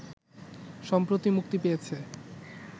সম্প্রতি মুক্তি পেয়েছে